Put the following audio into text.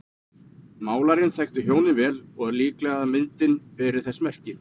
Málarinn þekkti hjónin vel og er líklegt að myndin beri þess merki.